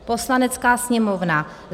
Poslanecká sněmovna